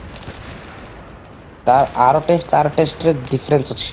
ତା ଆର taste ତାର taste ର difference ଅଛି